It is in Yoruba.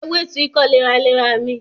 Ewé tu ikọ́ léraléra mi